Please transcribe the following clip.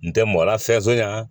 N tɛ mɔgɔ lafɛson